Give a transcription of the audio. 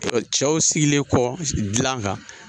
cɛw sigilen kɔ dilan kan